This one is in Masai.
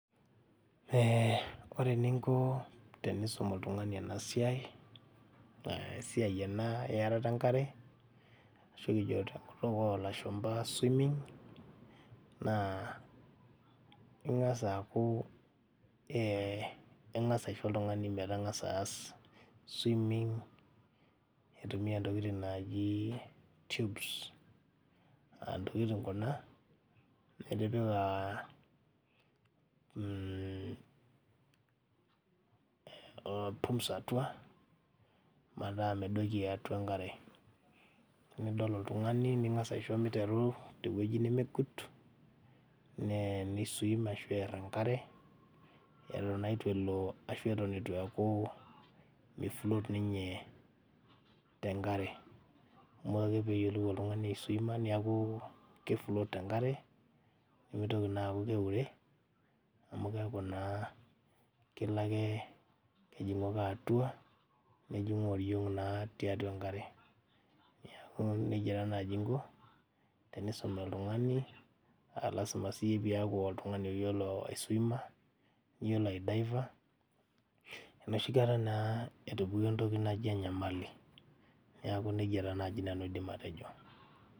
Eh ore eninko tenisum oltung'ani ena siai uh esiai ena earata enkare ashu kijio tenkutuk olashumpa swimming naa ing'as aaku eh ing'as aisho oltung'ani metang'asa aas swimming eitumia ntokiting naaji tubes antokiting kuna nitipika mh uh pums atua metaa medoki atua enkare nidol oltung'ani ning'as aisho miteru tewueji nemegut nee nei swim ashu err enkare eton naa itu elo ashu eton itu eeku mi float ninye tenkare amu ore ake peyiolou oltung'ani aeswima niaku kei float tenkare nemitoki naa aaku keure amu keeku naa kelo ake kejing'u ake atua nejing'u oriong naa tiatua enkare niaku nejia taa naaji inko tenisum oltung'ani alasima siyie piaku oltung'ani oyiolo aiswima niyiolo ae daiva enoshi kata naa etupukuo entoki naji enyamali niaku nejia taa naaji nanu aidim atejo.